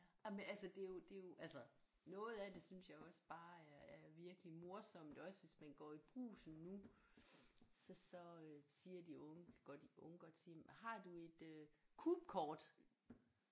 Jamen altså det er jo det er jo altså noget af det synes jeg jo også bare er er virkelig morsomt også hvis man går i Brugsen nu så så øh siger de unge godt de unge godt sige har du et øh Coop-kort